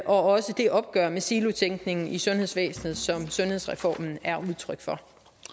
også det opgør med silotænkningen i sundhedsvæsenet som sundhedsreformen er udtryk for